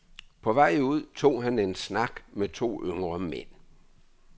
På vej ud tog han en snak med to yngre mænd.